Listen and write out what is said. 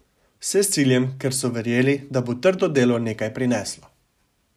Vse s ciljem, ker so verjeli, da bo trdo delo nekaj prineslo.